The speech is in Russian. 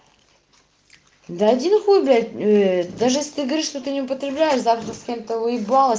да иди нахуй блять в даже если ты говоришь что ты не употребляешь завтра с кем то выебал